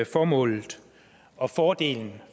formålet og fordelene